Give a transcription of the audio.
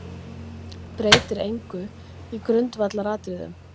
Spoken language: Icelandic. Breytir engu í grundvallaratriðum